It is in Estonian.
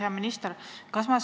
Hea minister!